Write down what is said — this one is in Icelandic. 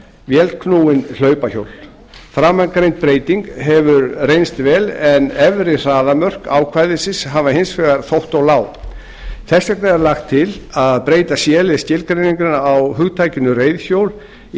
vélknúin hlaupahjól framangreind breyting hefur reynst vel en efri hraðamörk ákvæðisins hafa hins vegar þótt of lág þess vegna er lagt til að breyta c lið skilgreiningarinnar á hugtakinu reiðhjól í